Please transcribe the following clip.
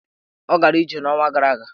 Ọ gara ije n'ọnwa gara aga?